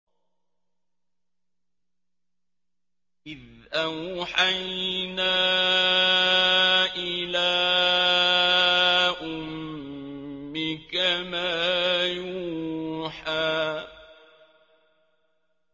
إِذْ أَوْحَيْنَا إِلَىٰ أُمِّكَ مَا يُوحَىٰ